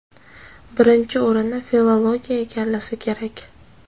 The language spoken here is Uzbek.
birinchi o‘rinni filologiya egallasa kerak.